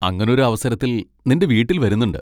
അങ്ങനൊരു അവസരത്തിൽ നിൻ്റെ വീട്ടിൽ വരുന്നുണ്ട്.